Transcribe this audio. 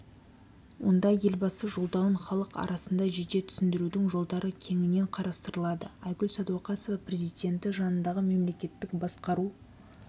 онда елбасы жолдауын халық арасында жете түсіндірудің жолдары кеңінен қарастырылады айгүл сәдуақасова президенті жанындағы мемлекеттік басқару